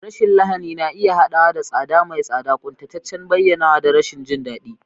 Rashin lahani na iya haɗawa da tsada mai tsada, ƙuntataccen bayyanawa, da rashin jin daɗi.